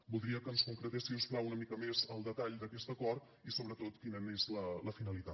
voldria que ens concretés si us plau una mica més el detall d’aquest acord i sobretot quina n’és la finalitat